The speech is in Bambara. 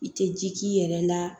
I tɛ ji k'i yɛrɛ la